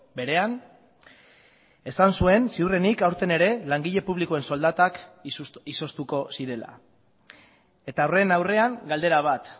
berean esan zuen ziurrenik aurten ere langile publikoen soldatak izoztuko zirela eta horren aurrean galdera bat